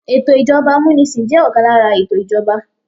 Ètò ìjọba amunisin jẹ́ ọ̀kan lára ètò ìjọba.